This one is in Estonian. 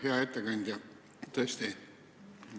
Hea ettekandja!